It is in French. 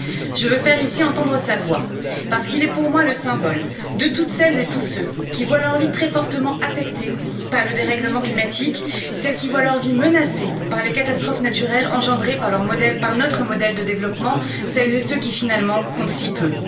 Je veux faire ici entendre sa voix parce qu'il est, pour moi, le symbole de toutes celles et tous ceux qui voient leur vie très fortement affectée par le dérèglement climatique, celles qui voient leur vie menacée par les catastrophes naturelles engendrées par notre modèle de développement, celles et ceux qui finalement comptent si peu.